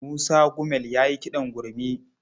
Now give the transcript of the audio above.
Musa Gumel ya yi kiɗan gurmi.